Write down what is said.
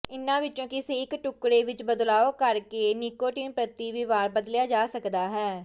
ਇਨ੍ਹਾਂ ਵਿਚੋਂ ਕਿਸੇ ਇਕ ਟੁਕੜੇ ਵਿਚ ਬਦਲਾਅ ਕਰਕੇ ਨਿਕੋਟੀਨ ਪ੍ਰਤੀ ਵਿਵਹਾਰ ਬਦਲਿਆ ਜਾ ਸਕਦਾ ਹੈ